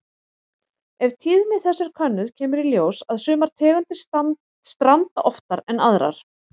Ef tíðni þess er könnuð kemur í ljós að sumar tegundir stranda oftar en aðrar.